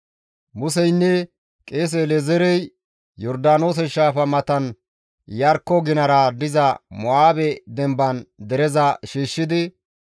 Museynne qeese El7ezeerey Yordaanoose shaafa matan Iyarkko ginara diza Mo7aabe dembaan dereza shiishshidi,